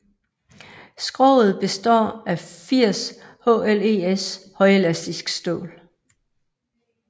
Skroget består af 80 HLES højelastisk stål